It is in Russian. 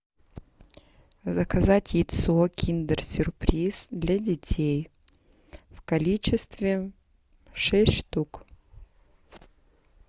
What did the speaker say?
заказать яйцо киндер сюрприз для детей в количестве шесть штук